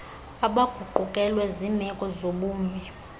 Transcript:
abaguqukelwe ziimeko zobumi